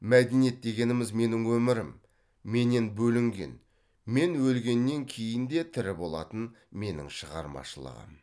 мәдениет дегеніміз менің өмірім менен бөлінген мен өлгеннен кейін де тірі болатын менің шығармашылығым